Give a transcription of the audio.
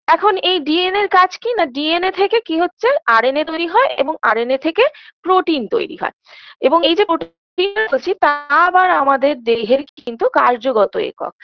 এখন এই DNA -এর কাজ কি না DNA থেকে কি হচ্ছে RNA তৈরী হয় এবং RNA থেকে protein তৈরী হয় এবং এই যে বলছি তা আবার আমাদের দেহের কিন্তু কার্যগত একক